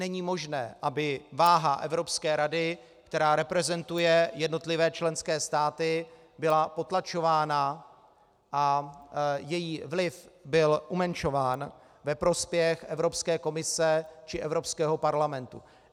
Není možné, aby váha Evropské rady, která reprezentuje jednotlivé členské státy, byla potlačována a její vliv byl umenšován ve prospěch Evropské komise či Evropského parlamentu.